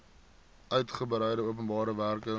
uitgebreide openbare werke